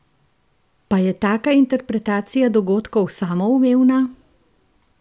Pa je taka interpretacija dogodkov samoumevna?